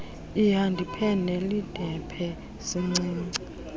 ihdpe neldpe sincinci